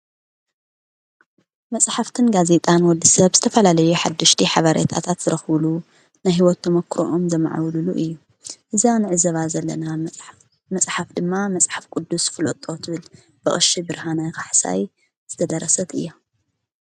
መጽሕፍትን ጋዜጣን ወዲ ሰብ ዝተፈላለዩ ሓድሽቲ ሓበሬታት ዝረኽብሉ ናይ ሕይወት ተመክሮኦም ዘመዓብሉሉ እዩ እዛ ንዕዘባ ዘለና መፅሓፍ ድማ መጽሕፍ ቅዱስ ፍሎጦ ትብል ብቀሺ ብርሃነ ካሕሳይ ዝተደረሰት እያ